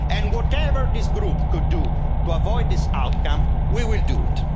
And whatever this Group can do to avoid this outcome, we will do it.